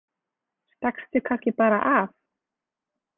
Stakkstu kannski bara af?